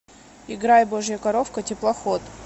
играй божья коровка теплоход